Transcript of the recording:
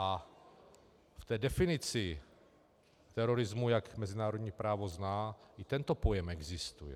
A v té definici terorismu, jak mezinárodní právo zná, i tento pojem existuje.